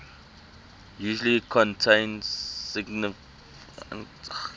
usually contain significant